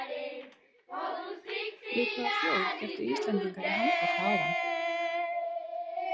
Við hvaða þjóð kepptu Íslendingar í handbolta áðan?